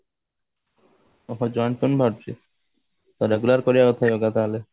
ଓଃହୋ joint pain ବାହାରୁଛି ତ regular କରିବା କଥା yoga ତାହେଲେ